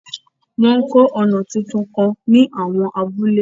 Wọ́n ń kọ́ ọ̀nà tuntun kan ní àwọn abúlé.